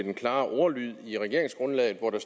den klare ordlyd i regeringsgrundlaget hvor der